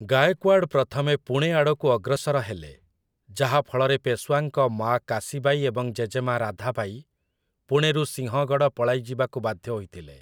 ଗାଏକ୍‌ୱାଡ୍‌ ପ୍ରଥମେ ପୁଣେ ଆଡ଼କୁ ଅଗ୍ରସର ହେଲେ, ଯାହାଫଳରେ ପେଶୱାଙ୍କ ମାଆ କାଶୀବାଇ ଏବଂ ଜେଜେମା ରାଧାବାଇ ପୁଣେରୁ ସିଂହଗଡ଼ ପଳାଇଯିବାକୁ ବାଧ୍ୟ ହୋଇଥିଲେ ।